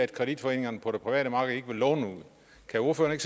kreditforeningerne på det private marked ikke vil låne ud kan ordføreren